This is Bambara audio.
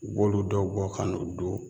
U b'olu dɔw bɔ ka n'u don